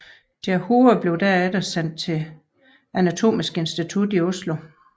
Deres hoveder blev derefter sendt til anatomisk institut i Oslo